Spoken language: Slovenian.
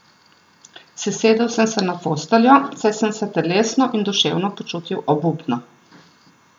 Sesedel sem se na posteljo, saj sem se telesno in duševno počutil obupno.